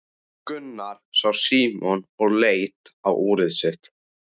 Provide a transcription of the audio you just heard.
Gunnar sá Símon og leit á úrið sitt.